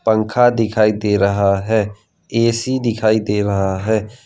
पंखा दिखाई दे रहा है ए_सी दिखाई दे रहा है।